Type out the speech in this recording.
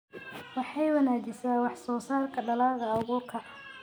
Waxay wanaajisaa wax soo saarka dalagga abuurka.